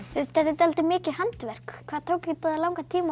þetta er dáldið mikið handverk hvað tók langan tíma